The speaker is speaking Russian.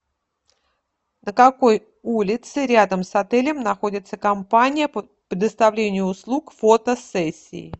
на какой улице рядом с отелем находится компания по предоставлению услуг фотосессии